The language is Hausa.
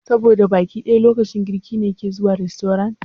Saboda baki da lokacin girki ne kike zuwa rastorant?